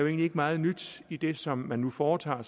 ikke meget nyt i det som man nu foretager